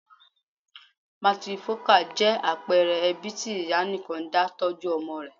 Matrifocal' jẹ́ àpẹẹre ẹbí tí ìyá nìkan dá tọ́jú ọmọ rẹ